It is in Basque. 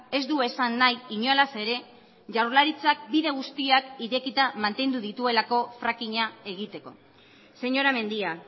ez du esan nahi inolaz ere jaurlaritzak bide guztiak irekita mantendu dituelako frackinga egiteko señora mendia